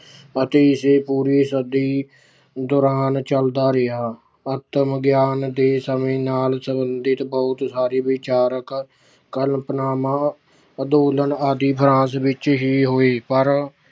ਅਤੇ ਏਸੇ ਪੂਰੀ ਸਦੀ ਦੌਰਾਨ ਚੱਲਦਾ ਰਿਹਾ। ਆਤਮ ਗਿਆਨ ਦੇ ਸਮੇਂ ਨਾਲ ਸੰਬੰਧਿਤ ਬਹੁਤ ਸਾਰੇ ਵਿਚਾਰਕ ਕਲਪਨਾਵਾਂ ਅੰਦੋਲਨ ਆਦਿ France ਵਿੱਚ ਹੀ ਹੋਈ, ਪਰ